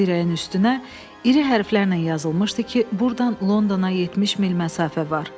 Dirəyin üstünə iri hərflərlə yazılmışdı ki, burdan Londona 70 mil məsafə var.